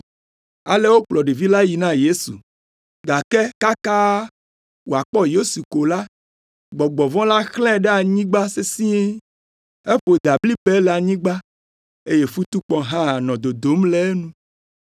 Ale wokplɔ ɖevi la yi na Yesu, gake kaka wòakpɔ Yesu ko la, gbɔgbɔ vɔ̃ la xlãe ɖe anyigba sesĩe; eƒo dablibɛ le anyigba, eye futukpɔ hã nɔ dodom le enu.